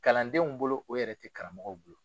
Kalandenw bolo o yɛrɛ tɛ karamɔgɔw bolo.